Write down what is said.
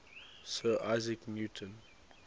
sir isaac newton